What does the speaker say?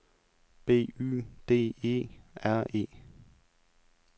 B Y D E R E